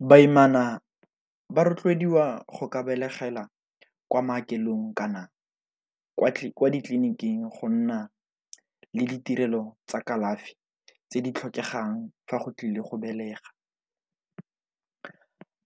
Baimana ba rotloediwa go ka begela kwa maokelong kana kwa ditleliniking go nna le ditirelo tsa kalafi tse di tlhokegang fa go tlile go belega.